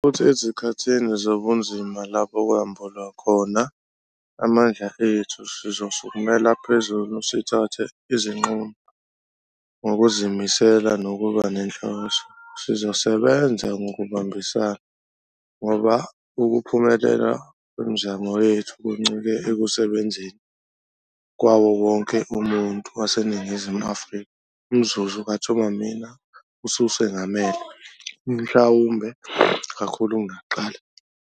Futhi ezikhathini zobunzima lapho kwambulwa khona amandla ethu. Sizosukumela phezulu sithathe izinqumo, ngokuzimisela nokuba nenhloso. Sizosebenza ngokubambisana, ngoba ukuphumelela kwemizamo yethu kuncike ekusebenzeni kwawo wonke umuntu waseNingizimu Afrika. Umzuzu kaThuma Mina ususengamele, mhlawumbe kakhulu kunakuqala.